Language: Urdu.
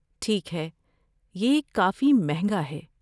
ٹھیک ہے۔ یہ کافی مہنگا ہے۔